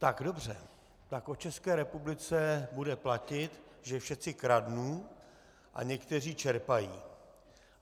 Tak dobře, tak o České republice bude platit, že všetci kradnú a někteří čerpají.